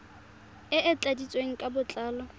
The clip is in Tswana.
e e tladitsweng ka botlalo